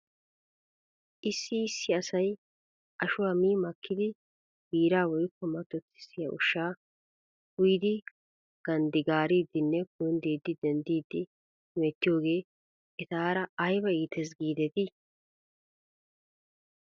Issi issi asay ashuwaa mi makkidi biiraa woykko mattottissiyaa ushshaa ushshaa uyidi ganddigaariidinne kundiidi dendiidi hemettiyoogee etaara ayba iites giidetii?